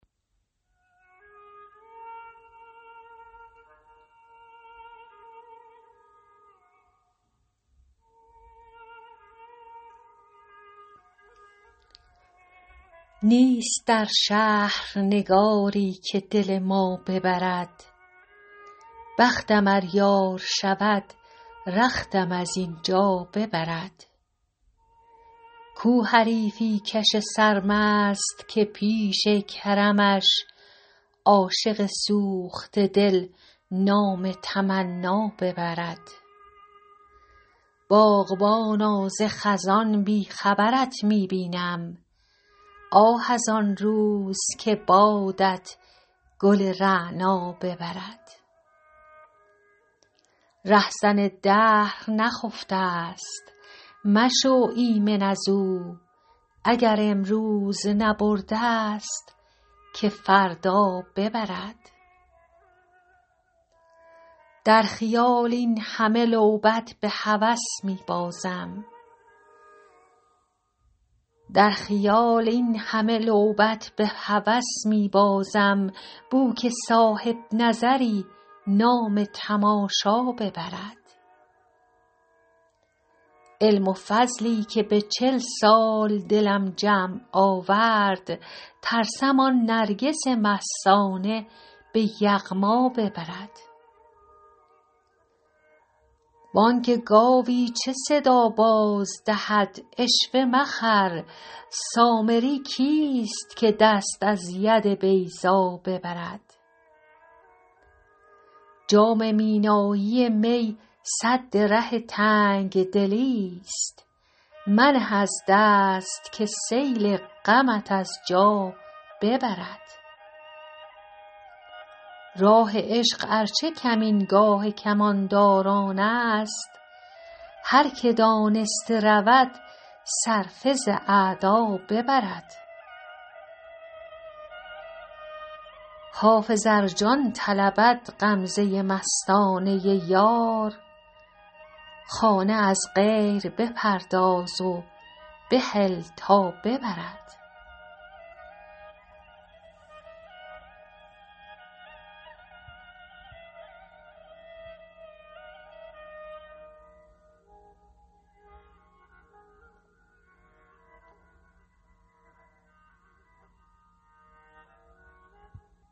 نیست در شهر نگاری که دل ما ببرد بختم ار یار شود رختم از این جا ببرد کو حریفی کش سرمست که پیش کرمش عاشق سوخته دل نام تمنا ببرد باغبانا ز خزان بی خبرت می بینم آه از آن روز که بادت گل رعنا ببرد رهزن دهر نخفته ست مشو ایمن از او اگر امروز نبرده ست که فردا ببرد در خیال این همه لعبت به هوس می بازم بو که صاحب نظری نام تماشا ببرد علم و فضلی که به چل سال دلم جمع آورد ترسم آن نرگس مستانه به یغما ببرد بانگ گاوی چه صدا باز دهد عشوه مخر سامری کیست که دست از ید بیضا ببرد جام مینایی می سد ره تنگ دلی ست منه از دست که سیل غمت از جا ببرد راه عشق ار چه کمینگاه کمانداران است هر که دانسته رود صرفه ز اعدا ببرد حافظ ار جان طلبد غمزه مستانه یار خانه از غیر بپرداز و بهل تا ببرد